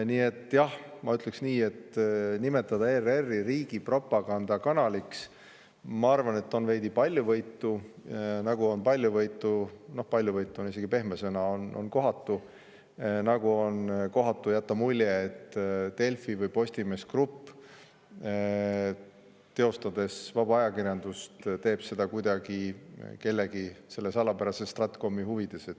Nii et jah, ma ütleks, et nimetada ERR-i riigi propagandakanaliks, ma arvan, on veidi paljuvõitu, nagu on paljuvõitu – paljuvõitu on pehme sõna –, isegi kohatu jätta mulje, et Delfi või Postimees Grupp, tehes vaba ajakirjandust, kuidagi kellegi, selle salapärase stratkomi huvides.